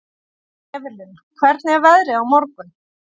Evelyn, hvernig er veðrið á morgun?